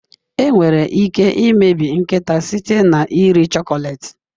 Enwere ike imebi nkịta site na iri chocolate.